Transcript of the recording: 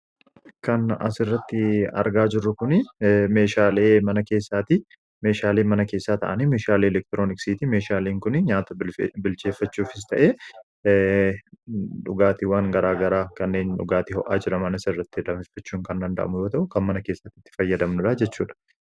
Kan as irratti argaa jirru kun meeshaalee mana keessaati. meeshaalee mana keessaa ta'anii meeshaalii elektirooniksiiti. meeshaalee kuni nyaata bilcheeffachuufis ta'ee dhugaatiiwwaan garaa garaa kanneen dhugaatii ho'aa jiran bunas irratti danfifachuun kan danda'amu yoo ta'u, kan mana keessati itti fayyadamnudha jechuudha.